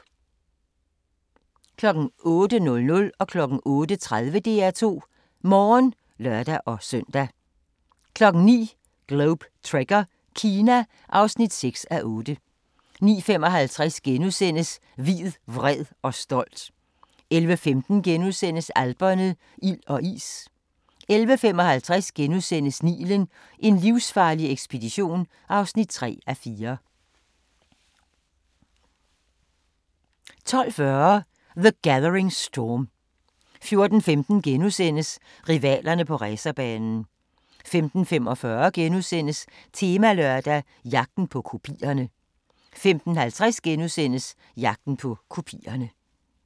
08:00: DR2 Morgen (lør-søn) 08:30: DR2 Morgen (lør-søn) 09:00: Globe Trekker - Kina (6:8) 09:55: Hvid, vred og stolt * 11:15: Alperne – ild og is * 11:55: Nilen: En livsfarlig ekspedition (3:4)* 12:40: The Gathering Storm 14:15: Rivalerne på racerbanen * 15:45: Temalørdag: Jagten på kopierne * 15:50: Jagten på kopierne *